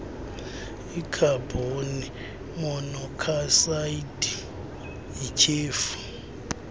ikhabhoni monokhsayidi yityhefu